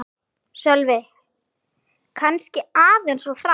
Sölvi: Kannski aðeins of hratt